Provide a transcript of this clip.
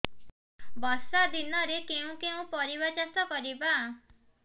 ବର୍ଷା ଦିନରେ କେଉଁ କେଉଁ ପରିବା ଚାଷ କରିବା